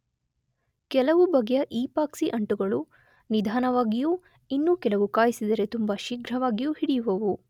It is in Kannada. ಕೆಲವು ಬಗೆಯ ಈಪಾಕ್ಸಿ ಅಂಟುಗಳು ನಿಧಾನವಾಗಿಯೂ ಇನ್ನೂ ಕೆಲವು ಕಾಯಿಸಿದರೆ ತುಂಬ ಶೀಘ್ರವಾಗಿಯೂ ಹಿಡಿಯುವುವು.